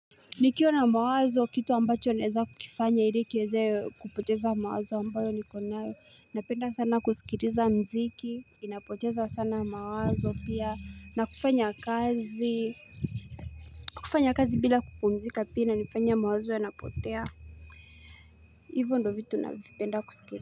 Nikiwa na mawazo kitu ambacho naweza kukifanya ili kiweze kupoteza mawazo ambayo niko nayo. Napenda sana kusikiliza mziki. Inapocheza sana mawazo pia. Na kufanya kazi. Kufanya kazi bila kupumzika pia inanifanya mawazo yanapotea. Hivo ndo vitu na vipenda kusikiliza.